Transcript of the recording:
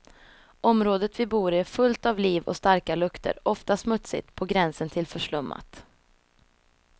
Området vi bor i är fullt av liv och starka lukter, ofta smutsigt, på gränsen till förslummat.